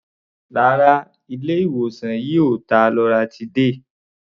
Rárá, ilé-ìwòsàn yìí ò ta loratiday.